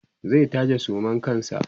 zai taje suman kansa